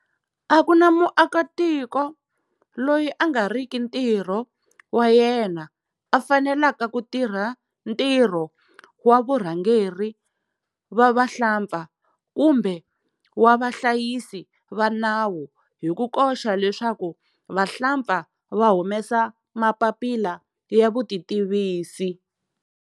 A ku na muakitiko loyi a nga riki ntirho wa yena a faneleke ku tirha ntirho wa vurhangeri va vahlampfa kumbe wa vahlayisi va nawu hi ku koxa leswaku vahlampfa va humesa mapapila ya vutitivisi.